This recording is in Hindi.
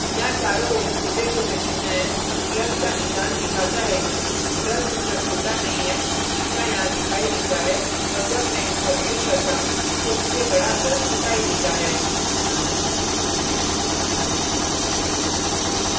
यहाँ चारों ओर छोटे छोटे चिन्ह हैं plus का निशान दिखाता है कि brush उतना छोटा नहीं है जितना यहाँ दिखाई देता है और जब मैं इस पर click करता हूँ तो मुझे बड़ा brush दिखाई देता है